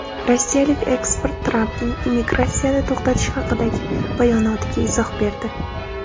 Rossiyalik ekspert Trampning immigratsiyani to‘xtatish haqidagi bayonotiga izoh berdi.